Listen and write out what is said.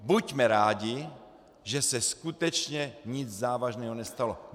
Buďme rádi, že se skutečně nic závažného nestalo.